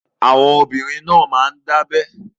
Àwọn obìnrin náà máa ń dá abẹ́